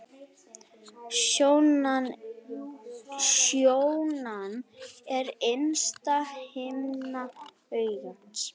Sjónan er innsta himna augans.